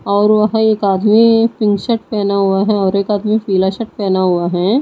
और वह एक आदमी पिंक शर्ट पहना हुआ है और एक आदमी पीला शर्ट पहना हुआ है।